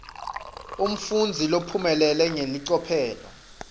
umfundzi lophumelele ngelicophelo